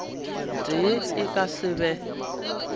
tee e ka se be